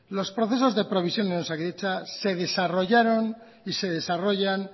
los procesos de provisión en osakidetza se desarrollaron y se desarrollan